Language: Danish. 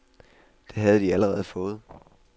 Det har de allerede fået.